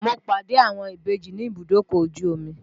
Mo pàdé àwọn ìbejì ní ibùdókọ̀ ojú omi